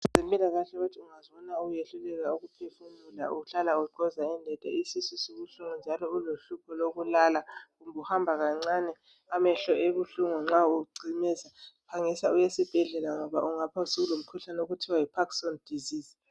Abezempikahle bathi ungazibona usehluleka ukuphefumula kuhle uhlala ungxoza indenda, isisu sibuhlungu njalo ulohlupho lokulala, uhamba kancani amehlo ebuhlungu nxa ucimeza phangisa uye esiphedlela ngoba ungaba usulomkhuhlane okuthiwa yi parkinson disease.